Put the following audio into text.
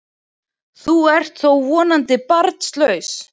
Þú ert þó vonandi barnlaus?